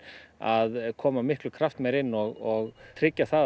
að koma miklu kraftmeiri inn og tryggja það að